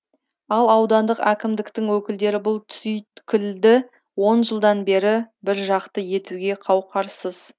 ал аудандық әкімдіктің өкілдері бұл түйткілді он жылдан бері біржақты етуге қауқарсыз